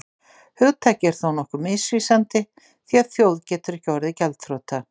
hugtakið er þó nokkuð misvísandi því að þjóð getur ekki orðið gjaldþrota